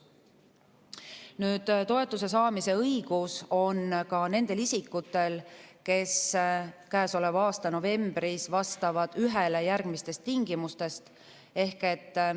Nüüd, toetuse saamise õigus on ka nendel isikutel, kes käesoleva aasta novembris vastavad ühele järgmistest tingimustest.